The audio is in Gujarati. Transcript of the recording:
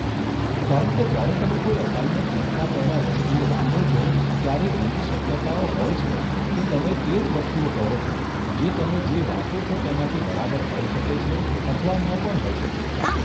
કારણ કે જ્યારે તમે કોઈ અસાઇનમેન્ટ લખતા પહેલા વસ્તુઓ વાંચો છો, ત્યારે એવી શક્યતાઓ હોય છે કે તમે તે જ વસ્તુઓ કહો છો, જે તમે જે વાંચો છો તેમાંથી બરાબર હોઈ શકે છે અથવા ન પણ હોઈ શકે.